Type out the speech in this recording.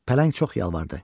Pələng çox yalvardı.